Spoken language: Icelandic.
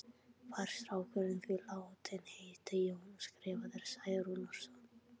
Var strákurinn því látinn heita Jón og skrifaður Særúnarson.